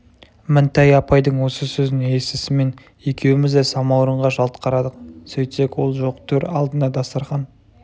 мінтай апайдың осы сөзін естісімен екеуіміз де самауырынға жалт қарадық сөйтсек ол жоқ төр алдына дастарқан